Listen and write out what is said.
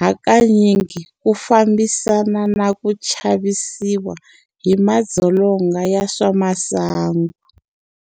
hakanyingi ku fambisanana na ku chavisiwa hi madzolonga ya swa masangu.